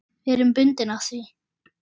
Við erum bundin af því.